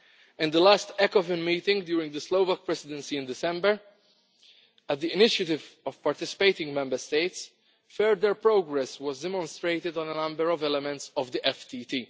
In the last Ecofin meeting during the Slovak Presidency in December, on the initiative of participating Member States, further progress was demonstrated on a number of elements of the FTT.